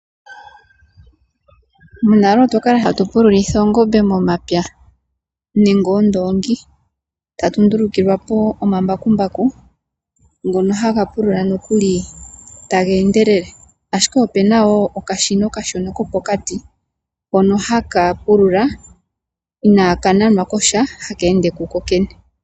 Monale otwa kala hatu pululitha oongombe momapya nenge oondongi. Tatu ndulukilwa omambakumbaku ngono haga pulula taga endelele. Ashike opena wo okashina okashona kopokati hono haka pulula inaaka nanwa kosha haka ende ku kokene.